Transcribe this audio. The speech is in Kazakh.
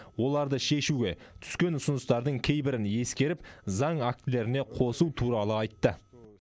оларды шешуге түскен ұсыныстардың кейбірін ескеріп заң актілеріне қосу туралы айтты